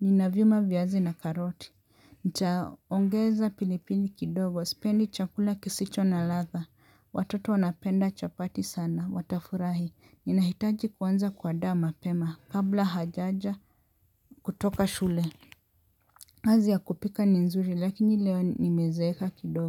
nina vyuma viazi na karoti. Ntaongeza pilipili kidogo, sipendi chakula kisicho na ladha, watoto wanapenda chapati sana, watafurahi, ninahitaji kuanza kuandaa mapema, kabla hajaja kutoka shule kazi ya kupika ni nzuri lakini leo nimezeeka kidogo.